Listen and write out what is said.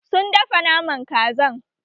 Sun dafa Naman Kazan